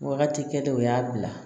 Wagati kɛ dɔw y'a bila